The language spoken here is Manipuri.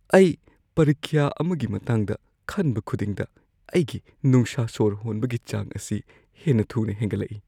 ꯑꯩ ꯄꯔꯤꯈ꯭ꯌꯥ ꯑꯃꯒꯤ ꯃꯇꯥꯡꯗ ꯈꯟꯕ ꯈꯨꯗꯤꯡꯗ ꯑꯩꯒꯤ ꯅꯨꯡꯁꯥꯁꯣꯔ ꯍꯣꯟꯕꯒꯤ ꯆꯥꯡ ꯑꯁꯤ ꯍꯦꯟꯅ ꯊꯨꯅ ꯍꯦꯟꯒꯠꯂꯛꯏ ꯫